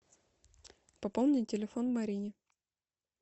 пополни телефон марине